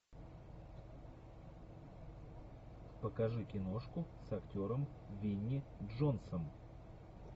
покажи киношку с актером винни джонсом